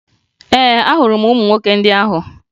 Ee, ahụrụ m ụmụ nwoke ndị ahụ